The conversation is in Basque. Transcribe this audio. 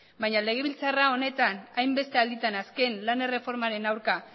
baina legebiltzarra honetan hainbeste alditan azken lan erreformaren aurka